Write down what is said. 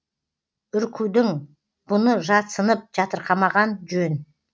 үркудің бұны жатсынып жатырқамаған жөн